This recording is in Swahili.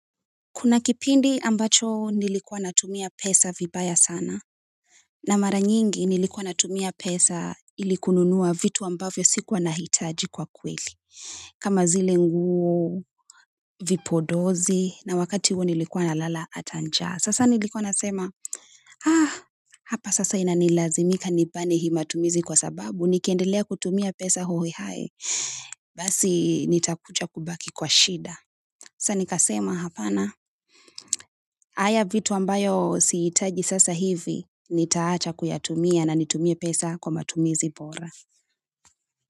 Kuna kipindi ambacho nilikuwa natumia pesa vibaya sana. Na mara nyingi nilikuwa natumia pesa ili kununua vitu ambavyo sikuwa nahitaji kwa kweli. Kama zile nguo, vipodozi, na wakati huo nilikuwa nalala hata njaa. Sasa nilikuwa nasema, hapa sasa inanilazimika nibani hii matumizi kwa sababu. Nikiendelea kutumia pesa hohehae basi nitakuja kubaki kwa shida. Sasa nikasema hapana. Haya vitu ambavyo sihitaji sasa hivi nitaacha kuyatumia na nitumie pesa kwa matumizi bora.